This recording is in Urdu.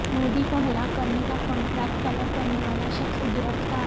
مودی کو ہلاک کرنے کا کنٹراکٹ طلب کرنے والا شخص گرفتار